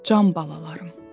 Can balalarım.